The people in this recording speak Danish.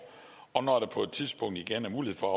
og når der på et tidspunkt igen er mulighed for at